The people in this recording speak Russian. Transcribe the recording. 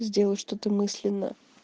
сделай что то мысленно